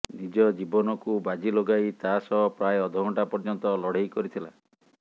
ନିଜ ଜୀବନକୁ ବାଜି ଲଗାଇ ତା ସହ ପ୍ରାୟ ଅଧ ଘଣ୍ଟା ପର୍ଯ୍ୟନ୍ତ ଲଢ଼େଇ କରିଥିଲା